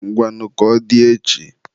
Ngwanụ ka ọ dị echi.